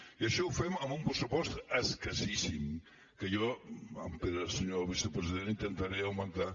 i això ho fem amb un pressupost escassíssim que jo pere senyor vicepresident intentaré augmentar